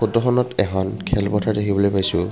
ফটোখনত এখন খেলপথাৰ দেখিবলৈ পাইছোঁ।